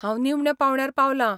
हांव निमण्या पांवड्यार पावलां.